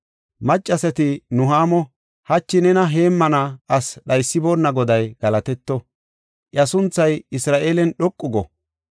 Maccasati Nuhaamo, “Hachi nena heemmana asi dhaysiboonna Goday galatetto! Iya sunthay Isra7eelen dhoqu go!